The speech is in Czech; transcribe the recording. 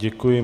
Děkuji.